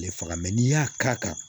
Ale faga n'i y'a k'a kan